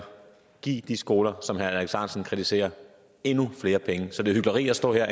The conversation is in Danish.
give de skoler som herre alex ahrendtsen kritiserer endnu flere penge så det er hykleri at stå her